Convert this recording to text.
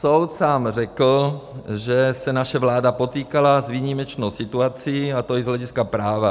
Soud sám řekl, že se naše vláda potýkala s výjimečnou situací, a to i z hlediska práva.